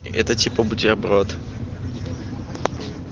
это типа бутерброд